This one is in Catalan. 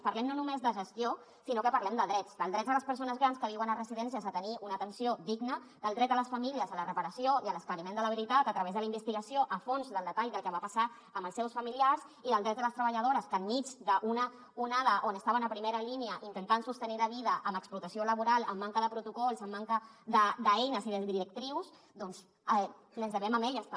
parlem no només de gestió sinó que parlem de drets dels drets de les persones grans que viuen a residències a tenir una atenció digna del dret a les famílies a la reparació i a l’esclariment de la veritat a través de la investigació a fons del detall del que va passar amb els seus familiars i dels drets de les treballadores que enmig d’una onada on estaven a primera línia intentant sostenir la vida amb explotació laboral amb manca de protocols amb manca d’eines i de directrius doncs ens devem a elles també